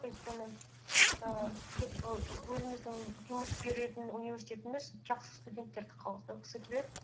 өйткені ііі деп і өзіміздің жұмыс беретін университетіміз жақсы студенттерді қабылдағысы келеді